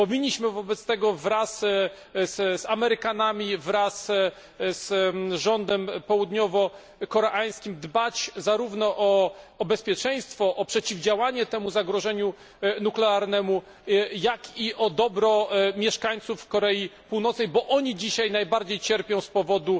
Powinniśmy wobec tego wraz z Amerykanami, wraz z rządem południowokoreańskim, dbać zarówno o bezpieczeństwo i przeciwdziałanie temu zagrożeniu nuklearnemu, jak i o dobro mieszkańców Korei Północnej, bo oni dzisiaj najbardziej cierpią z powodu